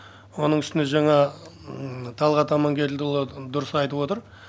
оның үстіне жаңа талғат амангелдіұлы дұрыс айтып отыр